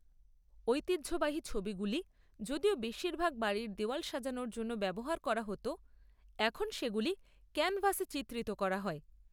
ঐতিহ্যবাহী ছবিগুলি যদিও বেশিরভাগ বাড়ির দেয়াল সাজানোর জন্য ব্যবহার করা হত, এখন সেগুলি ক্যানভাসে চিত্রিত করা হয়।